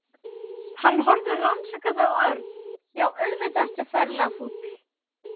Hann horfði rannsakandi á Örn. Já, auðvitað ertu ferlega fúll.